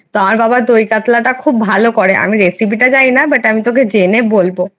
আমার বাবা দই কাতলাটা খুব ভালো করে আমি recipe টা জানি না but আমি তোকে জেনে বলবো।